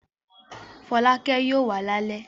Fọlákẹ́ yóò wá lálẹ́?